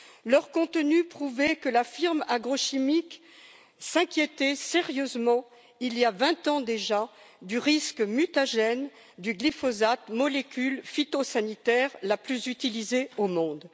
Leur contenu prouvait que la firme agrochimique s'inquiétait sérieusement, il y a 20 ans déjà, du risque mutagène du glyphosate, molécule phytosanitaire la plus utilisée au monde.